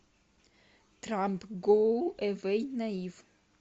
трамп гоу эвэй наив